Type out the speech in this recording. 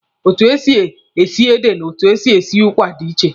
Etu e si esi ede na etu e si esi ụkwa dị iche.